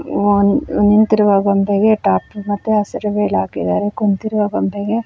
ಒಂದು ನಿಂತಿರುವ ಗೊಂಬೆಗೆ ಟಾಪ್ ಮತ್ತೆ ಹಸಿರು ವೆಲ್ ಹಾಕಿದ್ದಾರೆ ಕುಂತಿರುವ ಗೊಂಬೆಗೆ.